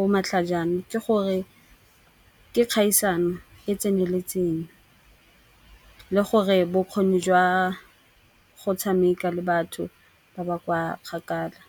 o matlhajana ke gore, ke kgaisano e tseneletseng le gore bokgoni jwa go tshameka le batho ba ba kwa kgakala.